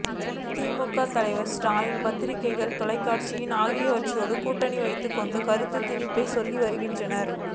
திமுக தலைவர் ஸ்டாலின் பத்திரிகைகள் தொலைக்காட்சிகள் ஆகியவற்றோடு கூட்டணி வைத்துக் கொண்டு கருத்துத் திணிப்பை சொல்லி வருகிறார்கள்